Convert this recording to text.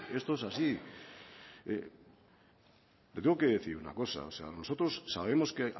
esto es así le tengo que decir una cosa nosotros sabemos que